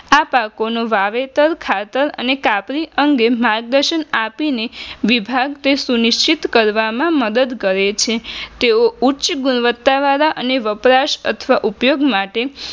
આ પાકોનો વાવેતર અને પાક અંગે માર્ગદર્શન આપીને વિભાગ એ સુનિશ્ચિત કરવામાં મદદ કરે છે તેઓ ઉચ્ચ ગુણવત્તા વાળા અને વપરાસ અથવા ઉપયોગ માટે